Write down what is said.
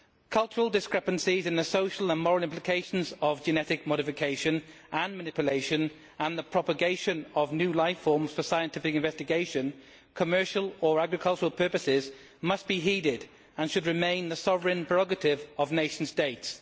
Cultural discrepancies and the social and moral implications of genetic modification and manipulation and the propagation of new life forms for scientific investigation or commercial or agricultural purposes must be heeded and should remain the sovereign prerogative of nation states.